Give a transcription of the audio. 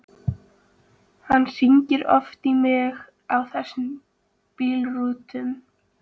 Hann hringdi oft í mig á þessum bíltúrum.